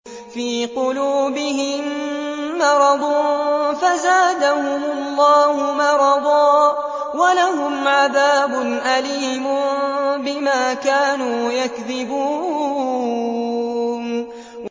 فِي قُلُوبِهِم مَّرَضٌ فَزَادَهُمُ اللَّهُ مَرَضًا ۖ وَلَهُمْ عَذَابٌ أَلِيمٌ بِمَا كَانُوا يَكْذِبُونَ